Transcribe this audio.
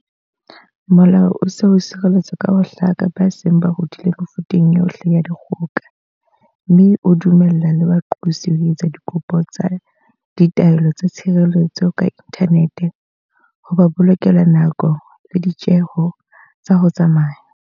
Molao o se o sireletsa ka ho hlaka ba seng ba hodile mefuteng yohle ya dikgoka, mme o dumella le baqosi ho etsa dikopo tsa ditaelo tsa tshireletso ka inthanete, ho ba bolokela nako le ditjeho tsa ho tsamaya.